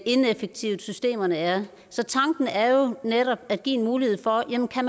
ineffektive systemerne er så tanken er jo netop at give en mulighed for at man kan